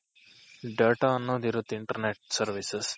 Data ಅನ್ನೋದ್ ಇರುತ್ತೆ Internet services